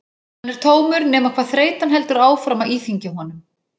Hann er tómur nema hvað þreytan heldur áfram að íþyngja honum.